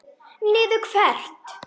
Niður hvert?